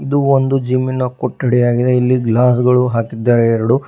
ಇದು ಒಂದು ಜಿಮ್ಮಿ ನ ಕೊಠಡಿಯಾಗಿದೆ ಇಲ್ಲಿ ಗ್ಲಾಸ್ ಗಳು ಹಾಕಿದ್ದಾರೆ ಎರಡು.